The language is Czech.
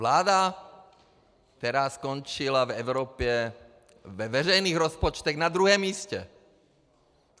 Vláda, která skončila v Evropě ve veřejných rozpočtech na druhém místě.